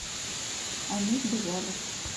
они сбежали